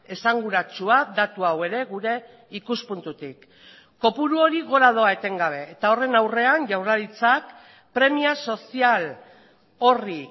esanguratsua datu hau ere gure ikuspuntutik kopuru hori gora doa etengabe eta horren aurrean jaurlaritzak premia sozial horri